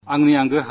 മനസ്സു പറയുന്നത്